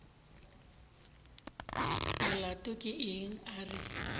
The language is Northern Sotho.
molato ke eng a re